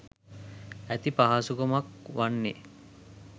ඇති පහසුකමක් වන්නේ